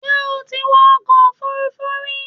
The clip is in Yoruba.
Ṣé o ti wọ ọkọ̀ Òfurufú rí